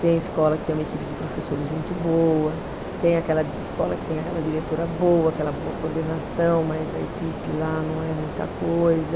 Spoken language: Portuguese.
Tem escola que tem uma equipe de professores muito boa, tem aquela escola que tem aquela diretora boa, aquela boa coordenação, mas a equipe lá não é muita coisa.